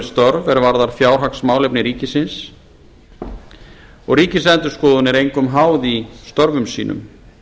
störf er varða fjárhagsmálefni ríkisins og ríkisendurskoðun er engum háð í störfum sínum